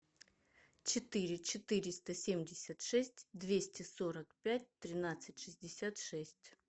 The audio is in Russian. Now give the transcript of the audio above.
четыре четыреста семьдесят шесть двести сорок пять тринадцать шестьдесят шесть